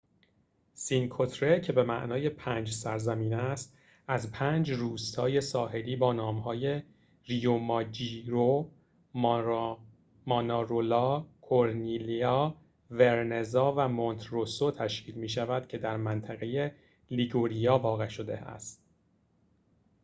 سینکو تره که به معنی پنج سرزمین است از پنج روستای ساحلی با نام‌های ریوماجیوره مانارولا کورنیلیا ورنزا و مونته‌روسو تشکیل می‌شود که در منطقه لیگوریا واقع شده است